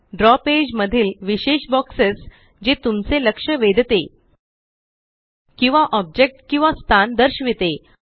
द्रव पेज मधील विशेष बॉक्सेस जे तुमचे लक्ष वेधते किंवा ऑब्जेक्ट किंवा स्थान दर्शविते